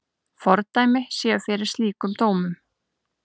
Fordæmi séu fyrir slíkum dómum.